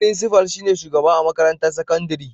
Firinsifal shi ne shugaba a makarantar sakandire.